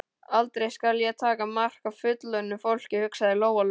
Aldrei skal ég taka mark á fullorðnu fólki, hugsaði Lóa-Lóa.